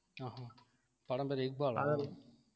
ஆஹ் படம் பேரு இக்பாலா